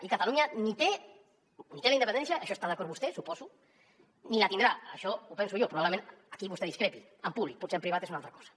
i catalunya ni té la independència en això hi està d’acord vostè suposo ni la tindrà això ho penso jo probablement aquí vostè discrepi en públic potser en privat és una altra cosa